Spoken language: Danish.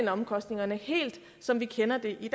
af omkostningerne helt som vi kender det